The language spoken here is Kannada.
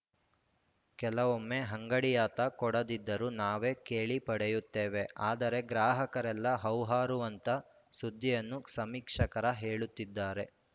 ಕೆಲವೊಮ್ಮೆ ಅಂಗಡಿಯಾತ ಕೊಡದಿದ್ದರು ನಾವೇ ಕೇಳಿ ಪಡೆಯುತ್ತೇವೆ ಆದರೆ ಗ್ರಾಹಕರೆಲ್ಲಾ ಹೌಹಾರುವಂತ ಸುದ್ದಿಯನ್ನು ಸಮೀಕ್ಷಕರ ಹೇಳುತ್ತಿದ್ದಾರೆ